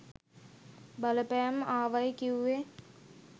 බලපෑම් ආවයි කිව්වේ?